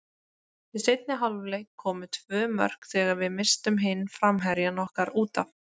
Í seinni hálfleik koma tvö mörk þegar við misstum hinn framherjann okkar útaf.